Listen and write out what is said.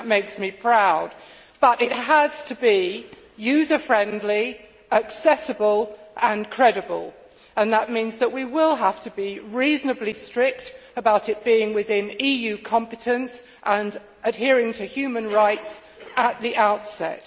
That makes me proud, but it has to be user friendly, accessible and credible, and that means we will have to be reasonably strict about it being within EU competence and adhering to human rights at the outset.